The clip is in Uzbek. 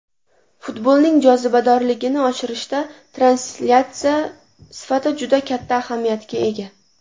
Futbolning jozibadorligini oshirishda translyatsiya sifati juda katta ahamiyatga ega.